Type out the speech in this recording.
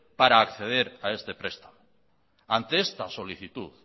para acceder a este prestamo ante esta solicitud